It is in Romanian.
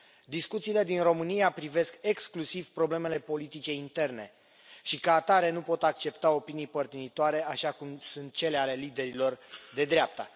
Discuțiile din România privesc exclusiv problemele politice interne și, ca atare, nu pot accepta opinii părtinitoare, așa cum sunt cele ale liderilor de dreapta.